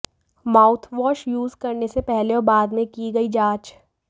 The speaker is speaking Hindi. माउथवॉश यूज करने से पहले और बाद में की गई जांच